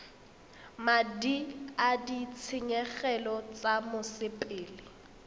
madi a ditshenyegelo tsa mosepele